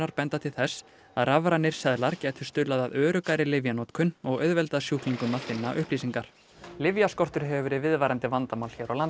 benda til þess að rafrænir seðlar gætu stuðlað að öruggari lyfjanotkun og auðveldað sjúklingum að finna upplýsingar hefur verið viðvarandi vandamál hér á landi